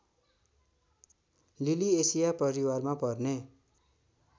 Liliaceae परिवारमा पर्ने